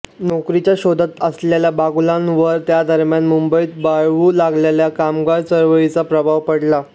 नोकरीच्या शोधात असलेल्या बागुलांवर त्यादरम्यान मुंबईत बळावू लागलेल्या कामगार चळवळीचा प्रभाव पडला